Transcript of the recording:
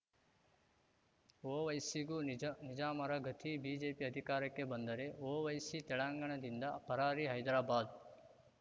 ಒವೈಸಿಗೂ ನಿಜ ನಿಜಾಮರ ಗತಿ ಬಿಜೆಪಿ ಅಧಿಕಾರಕ್ಕೆ ಬಂದರೆ ಒವೈಸಿ ತೆಲಂಗಾಣದಿಂದ ಪರಾರಿ ಹೈದ್ರಾಬಾದ್‌